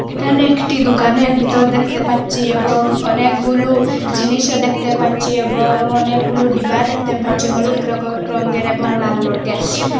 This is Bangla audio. এখানে একটি দুকান ভিতর দেখতে পাচ্ছি এবং অনেকগুলু জিনিসও দেখতে পাচ্ছি এবং অনেকগুলু ডিব্বা দেখতে পাচ্ছি হলুদ রগর রঙ্গের এবং লাল রঙ্গের।